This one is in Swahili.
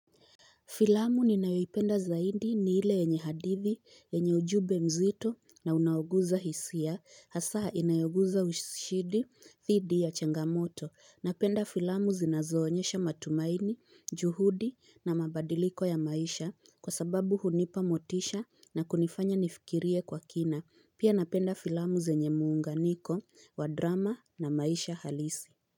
Filamu ninayoipenda zaidi ni ile yenye hadithi, yenye ujube mzito na unaoguza hisia, hasa inayoguza ushidi, thidi ya changamoto. Napenda filamu zinazoonyesha matumaini, juhudi na mabadiliko ya maisha kwa sababu hunipa motisha na kunifanya nifikirie kwa kina. Pia napenda filamu zenye muunganiko wa drama na maisha halisi.